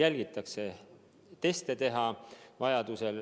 Sportlaste tervist kogu aeg jälgitakse.